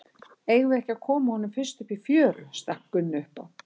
Eigum við ekki að koma honum fyrst upp í fjöru, stakk Gunni upp á.